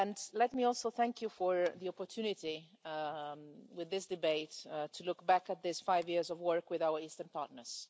Let me also thank you for the opportunity with this debate to look back at these five years of work with our Eastern partners.